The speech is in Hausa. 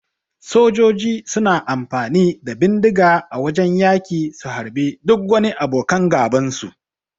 Sojoji suna amfani da bindiga a wajan yaki su harbe duk wani abokan gaban su.